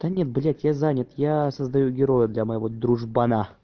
да нет блять я занят я создаю героя для моего дружбана